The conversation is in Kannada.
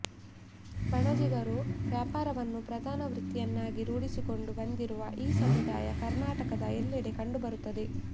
ಬಣಜಿಗರು ವ್ಯಾಪಾರವನ್ನು ಪ್ರಧಾನ ವೃತ್ತಿಯನ್ನಾಗಿ ರೂಢಿಸಿಕೊಂಡು ಬಂದಿರುವ ಈ ಸಮುದಾಯ ಕರ್ನಾಟಕದ ಎಲ್ಲೆಡೆ ಕಂಡು ಬರುತ್ತದೆ